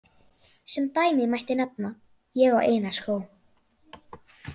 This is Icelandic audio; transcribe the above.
Sem dæmi mætti nefna: Ég á eina skó.